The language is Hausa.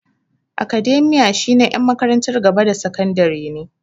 Academia shi na en makarantar gaba da sakandare ne